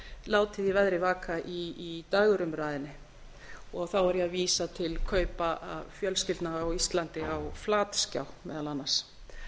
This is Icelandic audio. látið í veðri vaka í dægurumræðunni og þá er ég að vísa til kaupa fjölskyldna á íslandi á flatskjám meðal annars